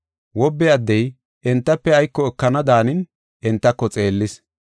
Wobbe addey entafe ayko ekana daanin entako xeellis.